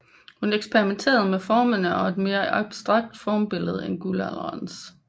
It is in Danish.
Hun eksperimenterede med formerne og et mere abstrakt formsprog end guldalderens